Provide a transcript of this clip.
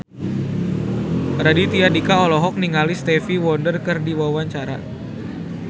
Raditya Dika olohok ningali Stevie Wonder keur diwawancara